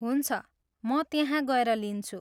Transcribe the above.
हुन्छ, म त्यहाँ गएर लिन्छु।